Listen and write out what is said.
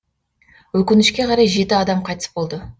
өкінішке қарай жеті адам қайтыс болды